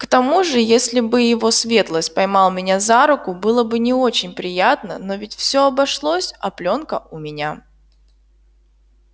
к тому же если бы его светлость поймал меня за руку было бы не очень приятно но ведь всё обошлось а плёнка у меня